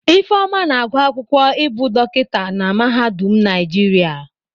Ifeoma na-agụ akwụkwọ ibu dokita na mahadum Naijiria.